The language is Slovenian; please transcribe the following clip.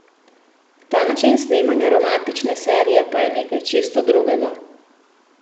Ta način snemanja romantične serije pa je nekaj čisto drugega.